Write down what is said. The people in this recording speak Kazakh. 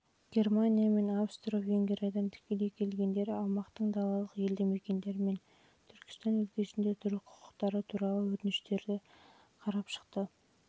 германия мен австро-венгриядан тікелей келгендер аумақтың далалық елді-мекендері мен түркістан өлкесінде тұру құқығы туралы өтініштердің ең